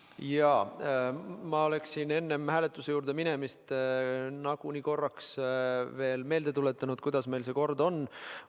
Jaa, ma oleksin enne hääletuse juurde minemist nagunii korraks veel meelde tuletanud, kuidas meil see kord on.